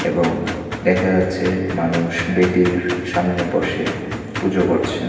এবং দেখা যাচ্ছে মানুষ বেদীর সামনে বসে পুজো করছে।